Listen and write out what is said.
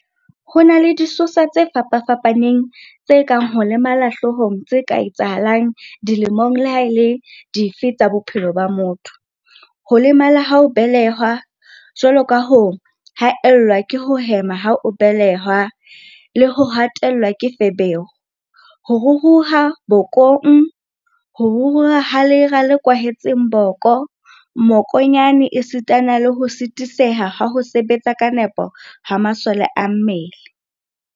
Ho na le disosa tse fapa-fapaneng tse kang ho lemala hloohong tse ka etsahalang dilemong leha e le dife tsa bophelo ba motho, ho lemala ha o belehwa, jwalo ka ho haellwa ke ho hema ha o be-lehwa, ho hatellwa ke feberu, ho ruruha bokong, ho ruruha ha lera le kwahetseng boko, mmokonyane esitana le ho phatsamiseha ha ho sebetsa ka nepo ha masole a mmele.